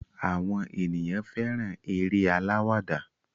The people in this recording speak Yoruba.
Àwọn ènìyàn fẹ́ràn eré alawada.